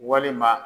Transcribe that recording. Walima